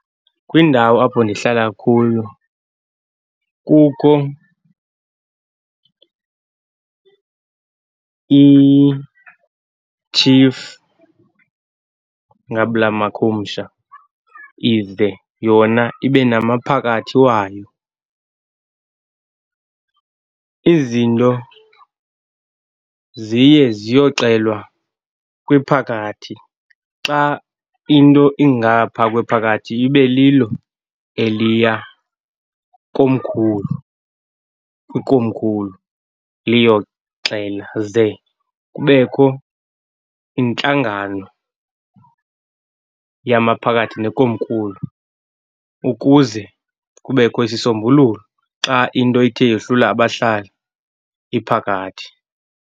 Kwindawo apho ndihlala kuyo kukho , itshifu ngabula makhumsha, ize yona ibe namaphakathi wayo. Izinto ziye ziyoxelwa kwiphakathi. Xa into ingapha kwephakathi, ibe lilo eliya komkhulu, kwikomkhulu liyoxela. Ze kubekho intlangano yamaphakathi nekomkulu ukuze kubekho isisombululo xa into ithe yohlula abahlali iphakathi.